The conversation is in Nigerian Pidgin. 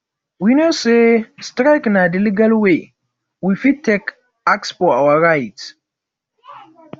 we know sey strike na di legal wey we fit take ask for our right